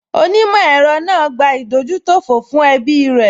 Onímọ̀ ẹ̀rọ náà gbà ìdójútòfò fún ẹbí rẹ̀